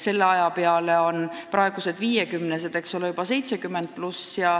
Selle aja peale on praegused 50-aastased, eks ole, juba vanuses 70+.